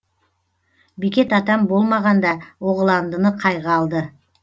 бекет атам болмағанда оғыландыны қайғы алды